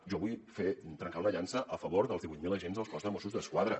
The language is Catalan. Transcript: jo vull trencar una llança a favor dels divuit mil agents del cos de mossos d’esquadra